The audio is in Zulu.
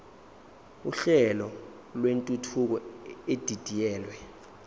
uhlelo lwentuthuko edidiyelwe